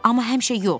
amma həmişə yox.